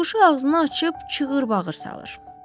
Tutuquşu ağzını açıb cığırt bağır salır.